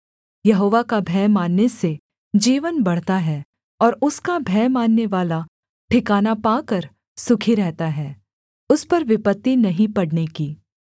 यहोवा का भय मानने से जीवन बढ़ता है और उसका भय माननेवाला ठिकाना पाकर सुखी रहता है उस पर विपत्ति नहीं पड़ने की